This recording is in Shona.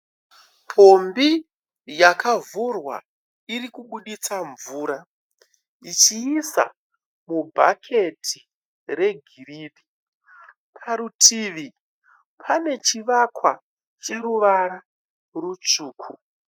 Pombi yakavhurwa irikuburitsa mvura ichiisa mubhaketi regirinhi. Parutivi pane chivakwa chine ruvara rutsvuku.